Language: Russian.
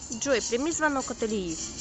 джой прими звонок от ильи